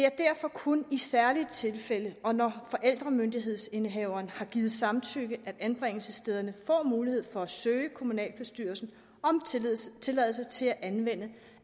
kun i særlige tilfælde og når forældremyndighedsindehaveren har givet samtykke at anbringelsesstederne får mulighed for at søge kommunalbestyrelsen om tilladelse tilladelse til at anvende